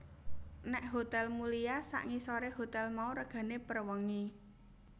Nek Hotel Mulia sak ngisore hotel mau regane per wengi